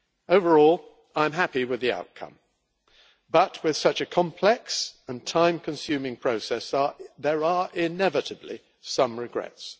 Overall, I am happy with the outcome but, with such a complex and time-consuming process, there are inevitably some regrets.